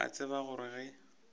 ke a tseba gore ge